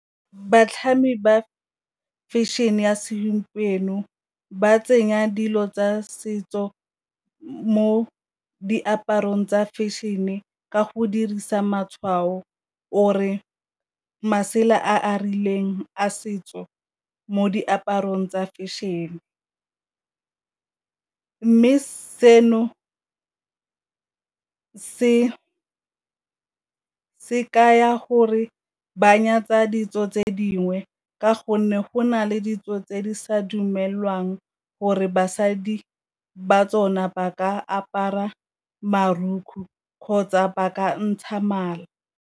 Batlhami ba fashion-e ya segompieno ba tsenya dilo tsa setso mo diaparong tsa fashion-e ka go dirisa matshwao or-e masela a a rileng a setso mo diaparong tsa fashion, mme seno se ka ya gore ba nyatsa ditso tse dingwe ka gonne go na le ditso tse di sa dumelwang gore basadi ba tsona ba ka apara kgotsa ba ka ntsha mala.